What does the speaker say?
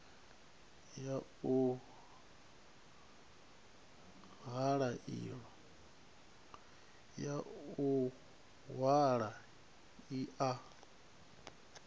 ya u hwala i a